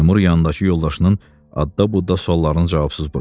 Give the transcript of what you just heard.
Seymur yandakı yoldaşının ətda-butda suallarını cavabsız buraxdı.